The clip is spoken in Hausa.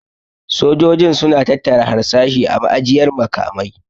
Sojojin su na tattara harsashi a ma'ajiyar makamai